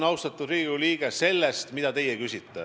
Austatud Riigikogu liige, mina lähtun sellest, mida teie küsite.